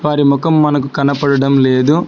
వారి ముఖం మనకు కనబడడం లేదు.